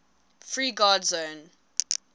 free guard zone